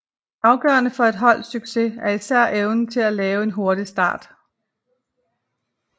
Afgørende for et holds succes er især evnen til at lave en hurtig start